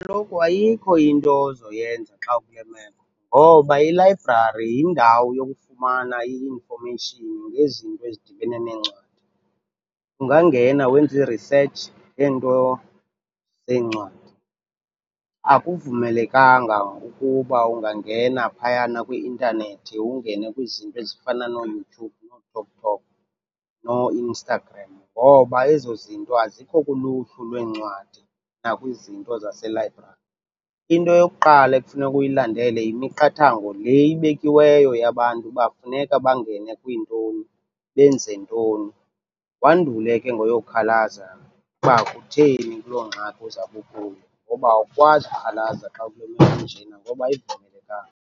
Kaloku ayikho into ozoyenza xa ukule meko ngoba ilayibrari yindawo yokufumana i-information ngezinto ezidibene neencwadi. Ungangena wenze i-research ngeento zeencwadi, akuvumelekanga ukuba ungangena phayana kwi-intanethi ungene kwizinto ezifana nooYoutube, nooTikTok, nooInstagram ngoba ezo zinto azikho kuluhlu lweencwadi nakwizinto zaselayibrari. Into eyokuqala ekufuneka uyilandele yimiqathango le ibekiweyo yabantu uba funeka bangene kwiintoni, benze ntoni, wandule ke ngoyokukhalaza uba kutheni ukuloo ngxaki uzawube ukuyo, ngoba awukwazi ukhalaza xa ukule meko injena ngoba ayivumelekanga.